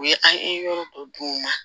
U ye an ye yɔrɔ dɔ d'u ma